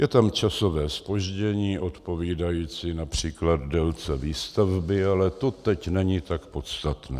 Je tam časové zpoždění odpovídající například délce výstavby, ale to teď není tak podstatné.